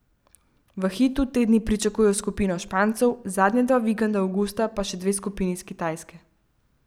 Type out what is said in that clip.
V Hitu te dni pričakujejo skupino Špancev, zadnja dva vikenda avgusta pa še dve skupini iz Kitajske.